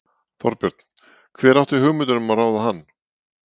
Þorbjörn: Hver átti hugmyndina um að ráða hann?